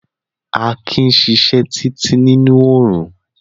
Akin sisẹ́ títí nínú orún